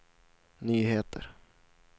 nyheter